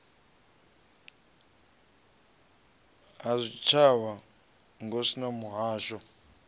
ha zwitshavha ngos na mihasho